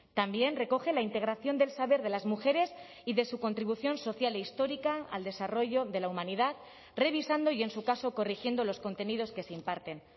también recoge la integración del saber de las mujeres y de su contribución social e histórica al desarrollo de la humanidad revisando y en su caso corrigiendo los contenidos que se imparten